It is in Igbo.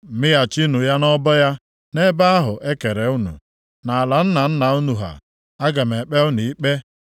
“ ‘Mịghachinụ ya nʼọbọ ya. Nʼebe ahụ e kere unu nʼala nna nna unu ha, Aga m ekpe unu ikpe.